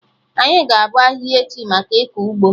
Anyị ga-abọ ahihia echi, maka ịkọ ụgbọ